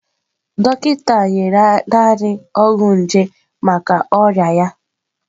Dọkịta nyere naanị ọgwụ nje maka ọrịa ya.